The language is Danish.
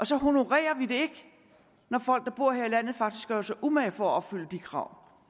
så honorerer vi det ikke når folk der bor her i landet faktisk gør sig umage for at opfylde de krav